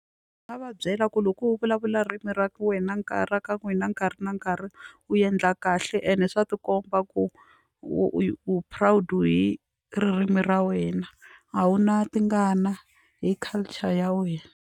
Nga va byela ku loko u vulavula ririmi ra wena nkarhi ra ka n'wina nkarhi na nkarhi u endla kahle ende swa tikomba ku u proud hi ririmi ra wena a wu na tingana hi culture ya wena.